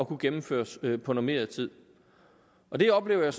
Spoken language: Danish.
kunne gennemføres på normeret tid og det oplever jeg